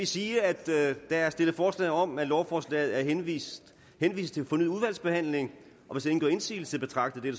sige at der er stillet forslag om at lovforslaget henvises til fornyet udvalgsbehandling hvis ingen gør indsigelse betragter